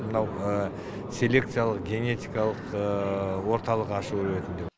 мынау селекциялық генетикалық орталық ашу ретінде